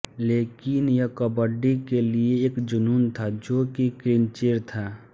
लेकिन यह कबड्डी के लिए एक जूनून था जों की क्लिंचेर था